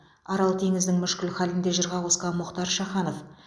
арал теңізінің мүшкіл халін де жырға қосқан мұхтар шаханов